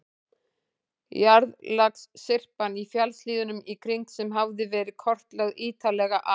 Jarðlagasyrpan í fjallshlíðunum í kring, sem hafði verið kortlögð ítarlega af